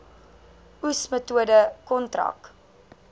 oes metode kontrak